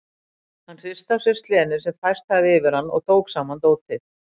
Hann hristi af sér slenið sem færst hafði yfir hann og tók saman dótið.